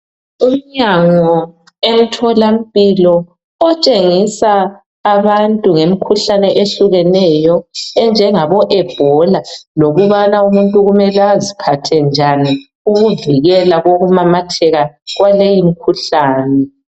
umnyango emtholampilo otshengisa abantu ngemikhuhlane ehlukeneyo enjengabo Ebola lokubana umuntu kumele aziphathe njani ukuvikela kokumamatheka kwaleyi imikhuhlane